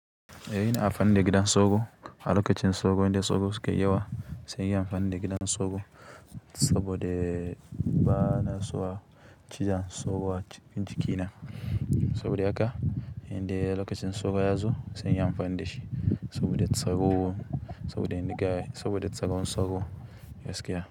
Eh ina amfani da gidan sauro. A lokacin sauro idan sauro suka yi yawa sai ki amfani da gidan sauro saboda ba na so a ciza sauro a jikina. Saboda haka inda lokacin sauro yazo sai in yi amfani da shi saboda tsako, saboda inda kayan, saboda tsakon sauro ya sake.